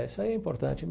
Isso aí é importante.